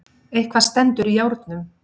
Eitthvað stendur í járnum